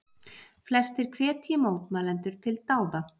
Flestir hvetji mótmælendur til dáða